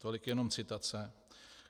Tolik jenom citace.